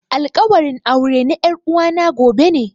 Alkawarin aure na er'uwa na gobe ne.